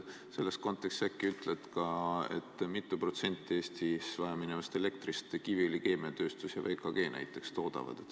Selles kontekstis äkki ütled ka, kui mitu protsenti Eestis vajaminevast elektrist Kiviõli Keemiatööstus ja VKG näiteks toodavad.